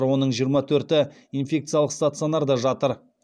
оның жиырма төрті инфекциялық стационарда жатыр